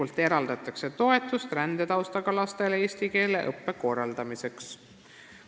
Riik eraldab toetust rändetaustaga lastele eesti keele õppe korraldamiseks.